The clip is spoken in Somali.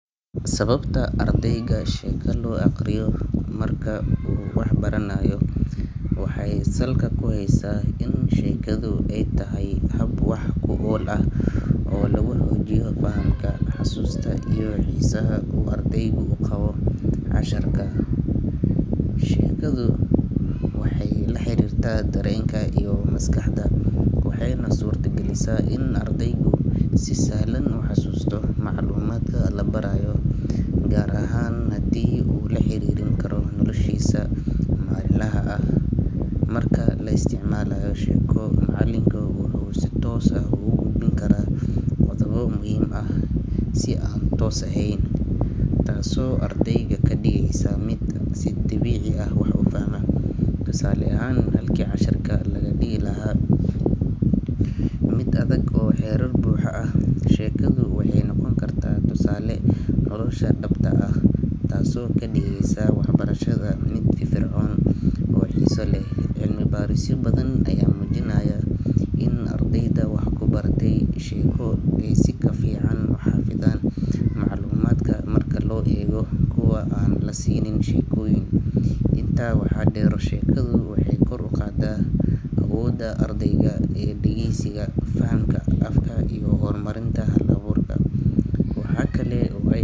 Sababta ardayga sheeko loo aqriyo marka uu wax baranayo waxay salka ku haysaa in sheekadu ay tahay hab wax ku ool ah oo lagu xoojiyo fahamka, xusuusta, iyo xiisaha uu ardaygu u qabo casharka. Sheekadu waxay la xiriirtaa dareenka iyo maskaxda, waxayna suurta gelisaa in ardaygu si sahlan u xasuusto macluumaadka la barayo, gaar ahaan haddii uu la xiriirin karo noloshiisa maalinlaha ah. Marka la isticmaalayo sheeko, macalinka wuxuu si toos ah ugu gudbin karaa qodobbo muhiim ah si aan toos ahayn, taasoo ardayga ka dhigaysa mid si dabiici ah wax u fahma. Tusaale ahaan, halkii casharka laga dhigi lahaa mid adag oo xeerar buuxa ah, sheekadu waxay noqon kartaa tusaale nolosha dhabta ah ah, taasoo ka dhigaysa waxbarashada mid firfircoon oo xiiso leh. Cilmi baarisyo badan ayaa muujinaya in ardayda wax ku baratay sheeko ay si ka fiican u xafidaan macluumaadka marka loo eego kuwa aan la siinin sheekooyin. Intaa waxaa dheer, sheekadu waxay kor u qaadaa awoodda ardayga ee dhageysiga, fahamka afka, iyo horumarinta hal-abuurka. Waxaa kale oo ay.